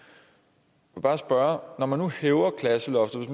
jeg vil bare spørge når man nu hæver klasseloftet